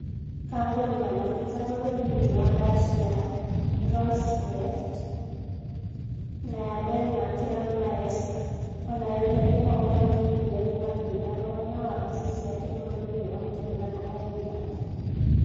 Kambuni ya maguta bũrũri-inĩ wa Russia, Rosneft na ya Denmark ya Maersk, onayo nĩ ĩhobanĩirio nĩ mathĩna hamwe na wafici ciake bũrũr-inĩ wa Ngeretha na Ireland